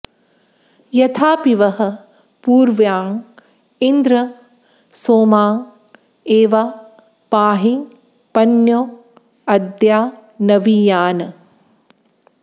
यथापि॑बः पू॒र्व्याँ इ॑न्द्र॒ सोमाँ॑ ए॒वा पा॑हि॒ पन्यो॑ अ॒द्या नवी॑यान्